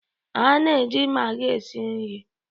A na-eji magi esi nri.